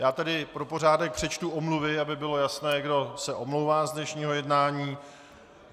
Já tedy pro pořádek přečtu omluvy, aby bylo jasné, kdo se omlouvá z dnešního jednání.